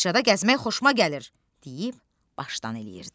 Bağçada gəzmək xoşuma gəlir deyib başdan eləyirdi.